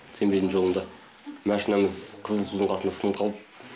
семейдің жолында машинамыз қызылсудың қасында сынып қалды